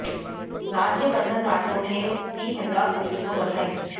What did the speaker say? राज्यवर्धन राठौड़ ने दी हैदराबाद पुलिस को बधाई